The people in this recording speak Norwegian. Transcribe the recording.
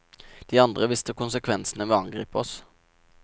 De andre visste konsekvensene ved å angripe oss.